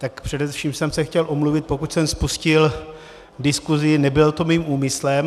Tak především jsem se chtěl omluvit, pokud jsem spustil diskusi, nebylo to mým úmyslem.